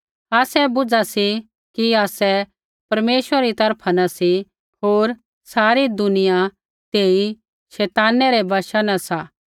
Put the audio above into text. आसै बूझा सी कि आसै परमेश्वरा री तरफा न सी होर सारी दुनिया तेई शैताना रै वशा न सा